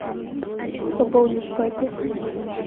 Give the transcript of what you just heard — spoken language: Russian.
пополнить папе